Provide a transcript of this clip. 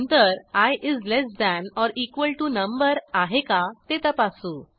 नंतर आय is less than or equal to number आहे का ते तपासू